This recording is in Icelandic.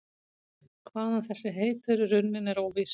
Hvaðan þessi heiti eru runnin er óvíst.